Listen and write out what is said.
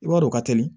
I b'a dɔn o ka teli